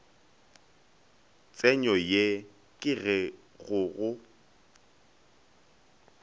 tsenyo ye ke go go